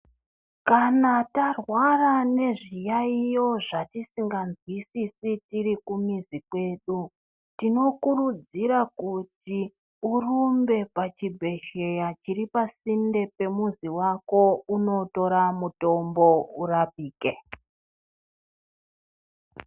Kana tarwara ngezviyaiyo zvatisinganzwisisi tiri kumizi kwedu tinokuridzira kuti urumbe pachibhehleya chiri pasinde nemuzi wako unotora mutombo urapike.